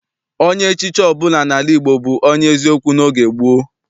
Onye echichi ọbụla n'ala Igbo bụ onye eziokwu n'oge gboo.